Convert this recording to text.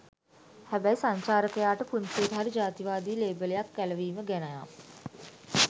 හැබැයි සංචාරකයාට පුංචියට හරි ජාතිවාදී ලේබලයක් ඇලවීම ගැනනම්